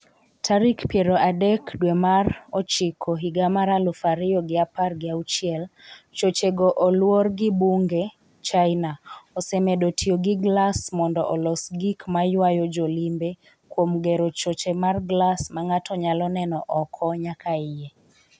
tarik piero adek dwe mar ochiko higa mar aluf ariyo gi apar gi auchiel chochego olwor gi bunge China osemedo tiyo gi glas mondo olos gik ma ywayo jolimbe kuom gero choche mar glas ma ng’ato nyalo neno oko nyaka iye